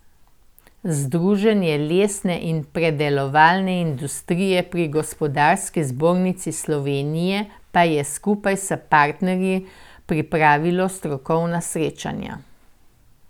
Združenje lesne in predelovalne industrije pri Gospodarski zbornici Slovenije pa je skupaj s partnerji pripravilo strokovna srečanja.